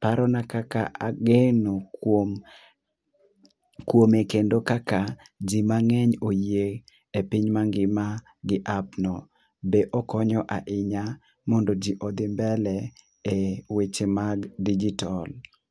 paro na kaka ageno kuom kuome kendo kaka ji mang'eny oyie e piny ma ngima gi app no be okonyo ahinya mondo ji odhi mbele e weche mag digital